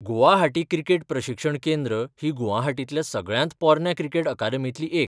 Guwahati cricket प्रशिक्षण केंद्र ही गुवाहाटींतल्या सगळ्यांत पोरन्या क्रिकेट अकादेमींतली एक.